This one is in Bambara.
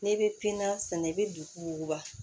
N'i bɛ piniya sɛnɛ i bɛ duku wuguba